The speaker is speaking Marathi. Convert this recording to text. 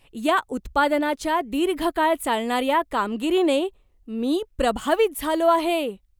या उत्पादनाच्या दीर्घकाळ चालणाऱ्या कामगिरीने मी प्रभावित झालो आहे.